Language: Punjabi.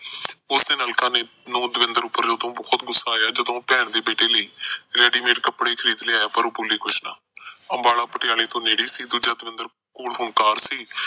ਉਸ ਦਿਨ ਅਲਕਾ ਨੂੰ ਦਵਿੰਦਰ ਤੇ ਉਦੋਂ ਬੜਾ ਗੁੱਸਾ ਆਇਆ ਜਦੋਂ ਉਹ ਭੈਣ ਦੇ ਬੇਟੇ ਲਈ ready-made ਕੱਪੜੇ ਖਰੀਦ ਲਿਆਇਆ ਪਰ ਬੋਲੀ ਕੁਝ ਨਾ। ਅੰਬਾਲਾ ਪਟਿਆਲਾ ਦੇ ਨੇੜੇ ਸੀ। ਦੂਜਾ ਦਵਿੰਦਰ ਕੋਲ ਹੁਣ car ਸੀ।